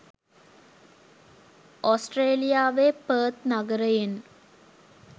ඔස්ට්‍රේලියාවේ ‘Perth’ නගරයෙන්